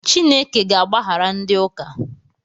Chineke ga-agbaghara ndị ụka.